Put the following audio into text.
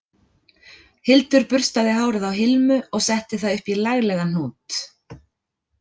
Hildur burstaði hárið á Hilmu og setti það upp í laglegan hnút